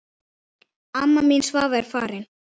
Amma mín Svava er farin.